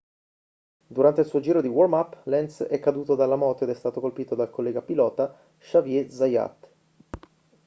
durante il suo giro di warm-up lenz è caduto dalla moto ed è stato colpito dal collega pilota xavier zayat